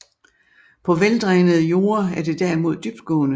På veldrænede jorde er det derimod dybtgående